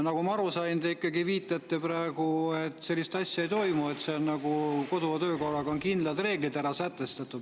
Nagu ma aru sain, te ikkagi viitate praegu sellele, et sellist asja ei toimu, sest kodu- ja töökorras on sätestatud kindlad reeglid.